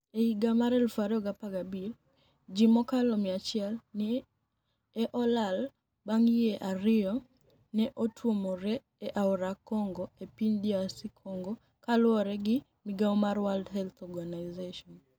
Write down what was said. E higa mar 2015, ji mokalo 100 ni e olal banig' yie ariyo ni e otuomore e aora Conigo e piniy DR Conigo, ka luwore gi migao mar World Health Organiizationi.